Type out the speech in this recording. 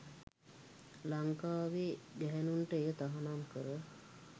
ලංකාවේ ගැහැණුන්ට එය තහනම් කර